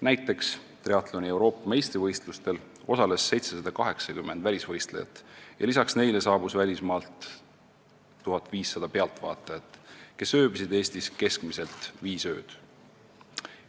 Näiteks triatloni Euroopa meistrivõistlustel osales 780 välisvõistlejat ja lisaks neile saabus välismaalt 1500 pealtvaatajat, kes veetsid Eestis keskmiselt viis ööd.